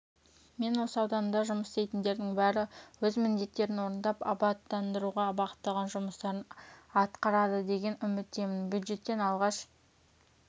мен осы ауданда жұмыс істейтіндердің бәрі өз міндеттерін орындап абаттандыруға бағытталған жұмыстарын атқарадыдеген үміттемін бюджеттен алғаш